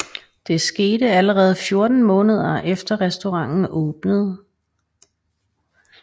Det skete allerede 14 måneder efter restauranten åbnede